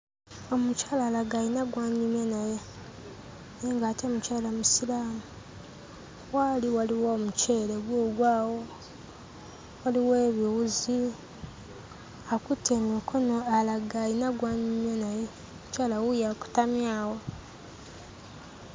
Omukyala alaga ayina gw'anyumya naye naye ng'ate mukyala Musiraamu. W'ali waliwo omuceere guugwo awo, waliwo ebiwuzi, akutte mu mikono alaga ayina gw'anyumya naye. Omukyala wuuyo akutamye awo.